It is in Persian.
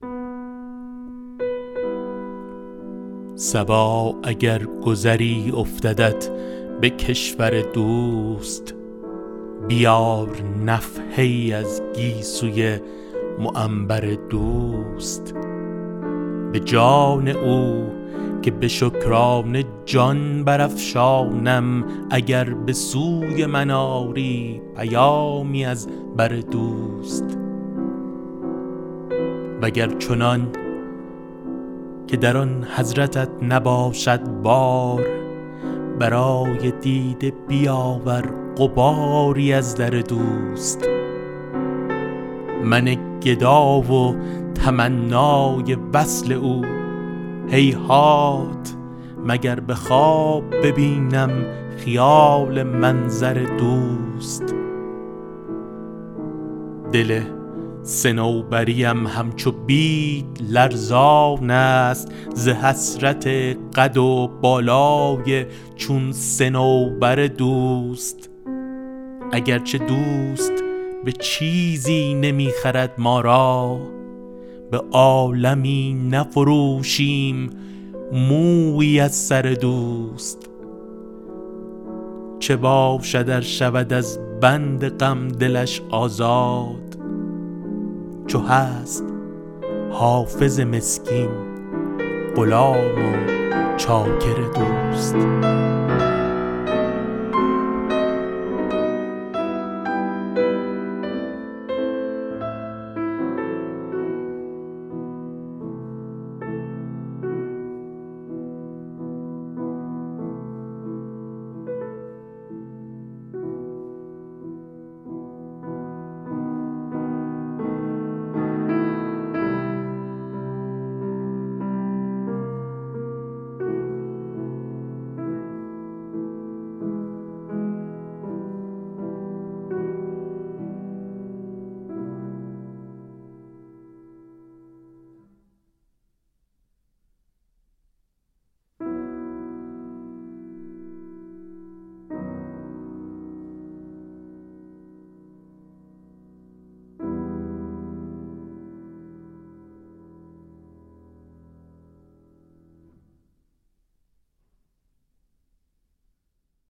صبا اگر گذری افتدت به کشور دوست بیار نفحه ای از گیسوی معنبر دوست به جان او که به شکرانه جان برافشانم اگر به سوی من آری پیامی از بر دوست و گر چنان که در آن حضرتت نباشد بار برای دیده بیاور غباری از در دوست من گدا و تمنای وصل او هیهات مگر به خواب ببینم خیال منظر دوست دل صنوبری ام همچو بید لرزان است ز حسرت قد و بالای چون صنوبر دوست اگر چه دوست به چیزی نمی خرد ما را به عالمی نفروشیم مویی از سر دوست چه باشد ار شود از بند غم دلش آزاد چو هست حافظ مسکین غلام و چاکر دوست